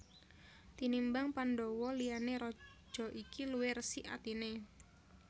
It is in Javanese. Tinimbang Pandhawa liyane raja iki luwih resik atine